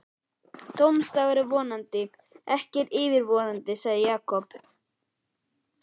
Dómsdagur er vonandi ekki yfirvofandi sagði Jakob.